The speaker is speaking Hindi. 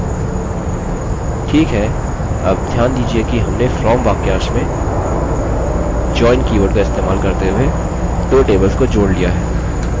ठीक है अब ध्यान दीजिये कि हमने from वाक्यांश में join कीवर्ड का इस्तेमाल करते हुए दो tables को जोड़ लिया है